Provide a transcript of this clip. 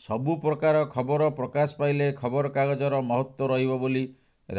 ସବୁ ପ୍ରକାର ଖବର ପ୍ରକାଶ ପାଇଲେ ଖବରକାଗଜର ମହତ୍ତ୍ୱ ରହିବ ବୋଲି